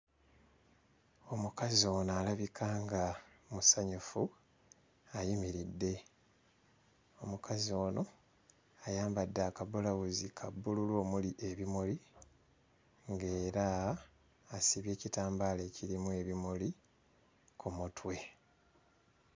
Omukazi ono alabika nga musanyufu ayimiridde. Omukazi ono ayambadde akabulawuzi ka bbululu omuli ebimuli ng'era asibye ekitambaala ekirimu ebimuli ku mutwe.